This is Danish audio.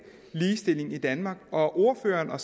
ligestilling i danmark ordføreren og